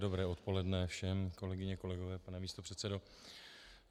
Dobré odpoledne všem, kolegyně, kolegové, pane místopředsedo.